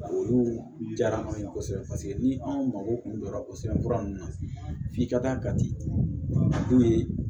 Olu diyara anw ye kosɛbɛ paseke ni anw mago kun don o sɛbɛn fura ninnu na f'i ka kan ka ciw ye